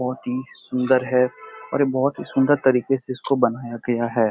बहोत ही सुंदर हैं और ये बहोत ही सुंदर तरीके से इसको बनाया गया है।